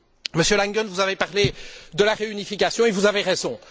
Monsieur Langen, vous avez parlé de la réunification et vous avez raison.